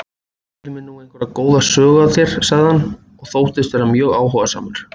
Segðu mér nú einhverja góða sögu af þér sagði hann og þóttist vera mjög áhugasamur.